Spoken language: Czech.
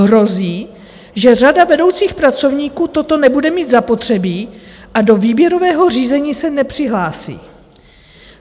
Hrozí, že řada vedoucích pracovníků toto nebude mít zapotřebí a do výběrového řízení se nepřihlásí.